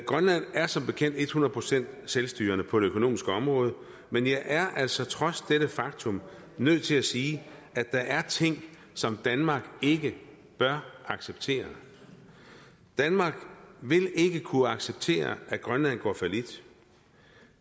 grønland er som bekendt et hundrede procent selvstyrende på det økonomiske område men jeg er altså trods dette faktum nødt til at sige at der er ting som danmark ikke bør acceptere danmark vil ikke kunne acceptere at grønland går fallit